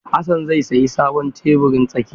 Hassan zai sayi sabon tebirin tsakiya.